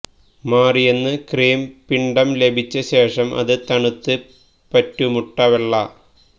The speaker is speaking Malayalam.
മാറിയെന്ന് ക്രീം പിണ്ഡം ലഭിച്ച ശേഷം അത് തണുത്ത് പറ്റൂ മുട്ട വെള്ള